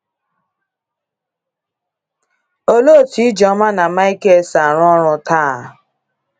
Olee otú Ijoma na Michael si arụ orụ taa?